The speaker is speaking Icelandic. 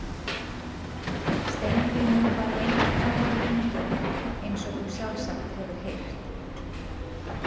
Steingrímur var lengi talinn eingetinn eins og þú sjálfsagt hefur heyrt.